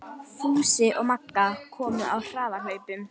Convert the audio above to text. Fúsi og Magga komu á harðahlaupum.